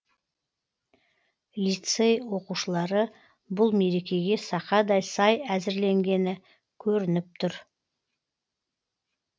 лицей оқушылары бұл мерекеге сақадай сай әзірленгені көрініп тұр